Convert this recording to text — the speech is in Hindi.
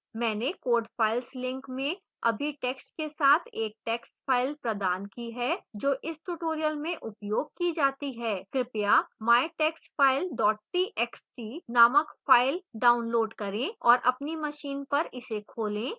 मैंने code files link में सभी टैक्स्ट के साथ एक टैक्स्ट फ़ाइल प्रदान की है जो इस tutorial में उपयोग की जाती है